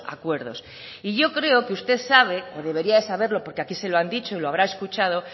acuerdos y yo creo que usted sabe o debería de saberlo porque aquí se lo han dicho y lo habrá escuchado